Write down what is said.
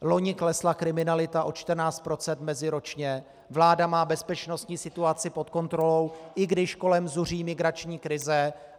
Loni klesla kriminalita o 14 % meziročně, vláda má bezpečnostní situaci pod kontrolou, i když kolem zuří migrační krize.